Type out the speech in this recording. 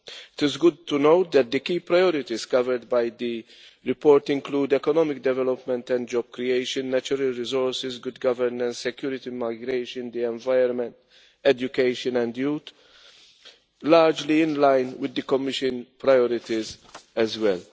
It is good to know that the key priorities covered by the report include economic development and job creation, natural resources, good governance, security, migration, the environment, education and youth largely in line with the Commission's priorities as well.